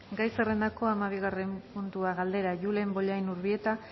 gai zerrendako hamabigarren puntua galdera julen bollain urbieta